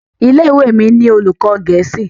ilé-ìwé mí ni olùkó gèésì.